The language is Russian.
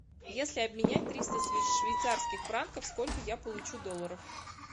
если обменять триста швейцарских франков сколько я получу долларов